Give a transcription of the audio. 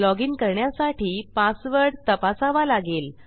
loginकरण्यासाठी password तपासावा लागेल